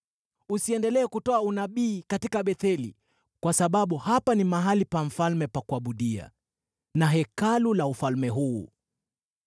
Usiendelee kutoa unabii katika Betheli, kwa sababu hapa ni mahali pa mfalme pa kuabudia na Hekalu la ufalme huu.”